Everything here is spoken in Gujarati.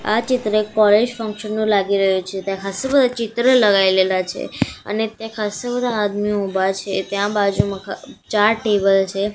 આ ચિત્ર એક કૉલેજ ફંક્શન નું લાગી રહ્યુ છે ત્યાં ખાસ્સા બધા ચિત્ર લગાઈલેલા છે અને ત્યાં ખાસ્સા બધા આદમીઓ ઊભા છે ત્યાં બાજુમાં ચાર ટેબલ છે.